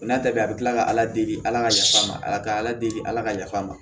N'a ta bɛɛ bi kila ka ala deli ala ka yafa an ma ala ka ala deli ala ka yafa a ma